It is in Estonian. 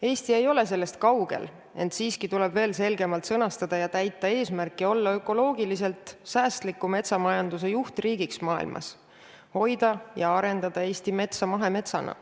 Eesti ei ole sellest kaugel, ent siiski tuleb oma eesmärk veel selgemalt sõnastada ja seda täita, olla ökoloogiliselt säästliku metsamajanduse juhtriigiks maailmas, hoida ja arendada Eesti metsa mahemetsana.